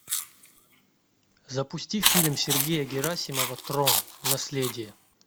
запусти фильм сергея герасимова трон наследие